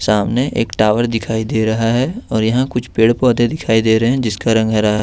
सामने एक टावर दिखाई दे रहा है और यहां कुछ पेड़ पौधे दिखाई दे रहे हैं जिसका रंग हरा है।